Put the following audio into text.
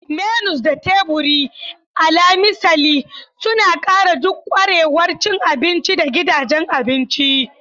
Menus da teburi, alal misali, suna ƙara duk ƙwarewar cin abinci a gidajen abinci.